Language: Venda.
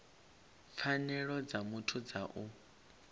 pfanelo dza muthu dza u